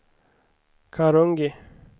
Karungi